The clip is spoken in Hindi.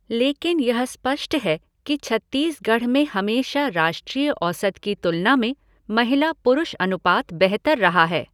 लेकिन यह स्पष्ट है कि छत्तीसगढ़ में हमेशा राष्ट्रीय औसत की तुलना में महिला पुरुष अनुपात बेहतर रहा है।